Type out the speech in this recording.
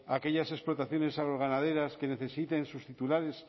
aquellas explotaciones agroganaderas que necesiten sus titulares